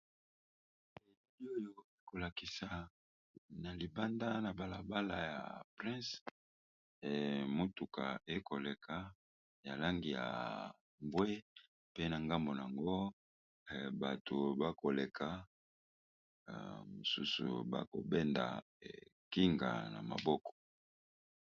Elili oyo ekolakisa na libanda na balabala ya prince emotuka ekoleka ya langi ya mbwe pe na ngambo nyango bato bakoleka mosusu bakobenda ekinga na maboko